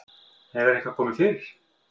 Hefur eitthvað komið fyrir?